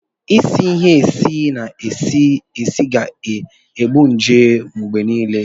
Ịsị ịhe esi na-esi esi ga-egbu nje mgbe niile